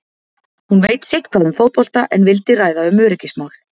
Hún veit sitthvað um fótbolta en vildi ræða um öryggismál.